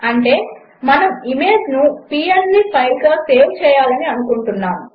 అంటే మనము ఇమేజ్ను పీఎన్జీ ఫైల్గా సేవ్ చేయాలని అనుకుంటున్నాము